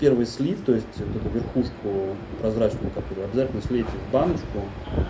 первый слив то есть вот эту верхушку прозрачную которая обязательно слейте в баночку